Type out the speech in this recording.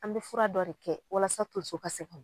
An bi fura dɔ de kɛ walasa tonso ka segin